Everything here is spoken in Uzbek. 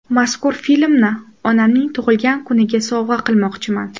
Mazkur filmni onamning tug‘ilgan kuniga sovg‘a qilmoqchiman.